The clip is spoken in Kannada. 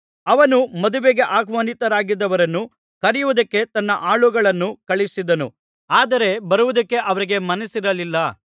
ಅವನು ಮದುವೆಗೆ ಆಹ್ವಾನಿತರಾಗಿದ್ದವರನ್ನು ಕರೆಯುವುದಕ್ಕೆ ತನ್ನ ಆಳುಗಳನ್ನು ಕಳುಹಿಸಿದನು ಆದರೆ ಬರುವುದಕ್ಕೆ ಅವರಿಗೆ ಮನಸ್ಸಿರಲಿಲ್ಲ